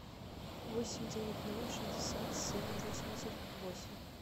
восемь девять ноль шестьдесят семь восемьдесят восемь